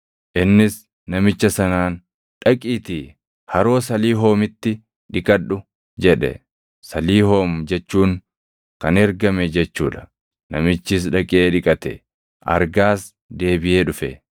Innis namicha sanaan, “Dhaqiitii Haroo Saliihoomitti dhiqadhu” jedhe. Saliihoom jechuun kan ergame jechuu dha. Namichis dhaqee dhiqate; argaas deebiʼee dhufe.